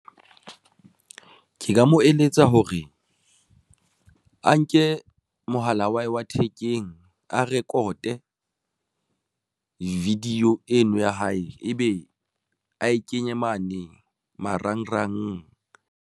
Ke ka mo eletsa hore a nke mohala wa hae thekeng a record-e video eno ya hae ebe a e kenye mane marangrang.